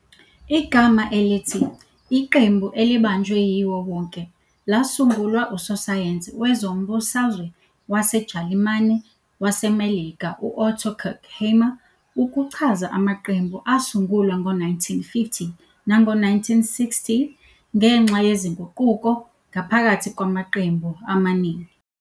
Igama elithi "iqembu elibanjwe yiwo wonke" lasungulwa usosayensi wezombusazwe waseJalimane waseMelika U-Otto Kirchheimer ukuchaza amaqembu asungulwa ngo-1950 nango-1960 ngenxa yezinguquko ngaphakathi kwamaqembu amaningi.